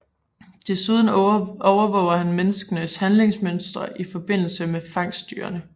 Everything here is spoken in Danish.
Desuden overvåger han menneskenes handlingsmønstre i forbindelse med fangstdyrene